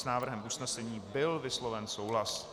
S návrhem usnesení byl vysloven souhlas.